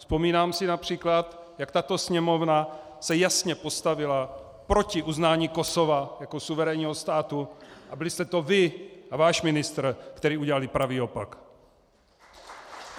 Vzpomínám si například, jak tato Sněmovna se jasně postavila proti uznání Kosova jako suverénního státu, a byli jste to vy a váš ministr, kdo udělal pravý opak.